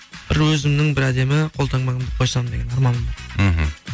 бір өзімнің бір әдемі қолтаңбамды қойсам деген арманым бар мхм